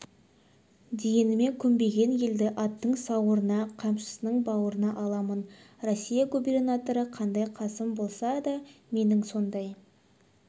дегеніме көнбеген елді аттың сауырына қамшының бауырына аламын россия губернаторы қандай қасым болса да менің сондай